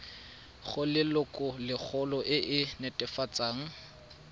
go lelokolegolo e e netefatsang